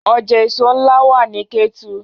Ọjà èso ńlá wà nní Kétu